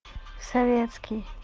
советский